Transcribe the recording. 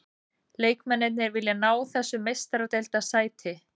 Leikmennirnir vilja ná þessu meistaradeildarsæti.